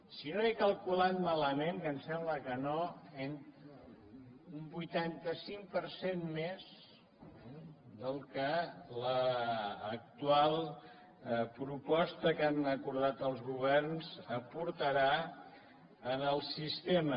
si no ho he calculat malament que em sembla que no un vuitanta cinc per cent més del que l’actual proposta que han acordat els governs aportarà al sistema